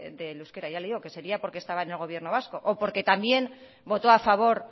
del euskera ya le digo que sería porque estaba en el gobierno vasco o porque también votó a favor